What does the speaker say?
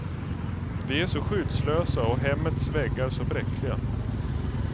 Vi är så skyddslösa och hemmets väggar så bräckliga.